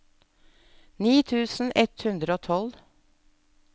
ni tusen ett hundre og tolv